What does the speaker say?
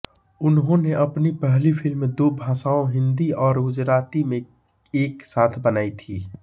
उन्होंने अपनी पहली फिल्म दो भाषाओं हिन्दी और गुजराती में एक साथ बनायी थी